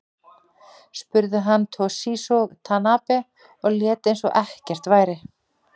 Spruði hann Toshizo Tanabe og lét eins og ekkert væri.